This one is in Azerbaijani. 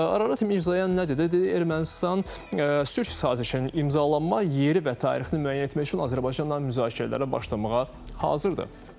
Ararat Mirzoyan nə dedi, dedi Ermənistan sülh sazişinin imzalanma yeri və tarixi müəyyən etmək üçün Azərbaycanla müzakirələrə başlamağa hazırdır.